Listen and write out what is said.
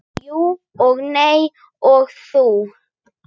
Jú og nei og þó.